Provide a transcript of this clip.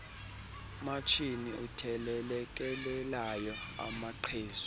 matshini uthelelekelelayo amaqhezu